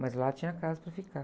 Mas lá tinha casa para ficar.